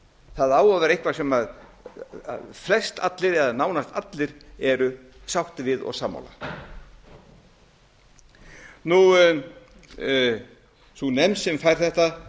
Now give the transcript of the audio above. það á að vera eitthvað sem flest allir eða nánast allir eru sáttir við og sammála sú nefnd sem fær þetta